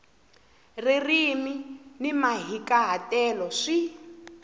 ririmi ni mahikahatelo swi